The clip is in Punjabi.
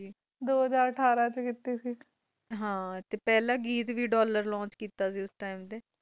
ਦੋ ਹਾਜਰ ਯਾਤਰਾ ਵਿਚ ਕੀਤੀ ਸੀ ਵਿਚ ਕੀਤੀ ਸੇ ਤੇ ਪਹਿਲਾ ਗੀਤ ਵੀ ਲੌਂਚ ਕੀਤਾ ਸੀ ਡੋਲਲੋਰ